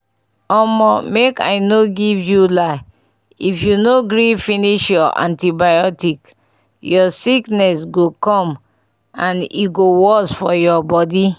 omo make i no lie give you if you no gree finish your antibiotics ur sickness go come and e go worst for ur body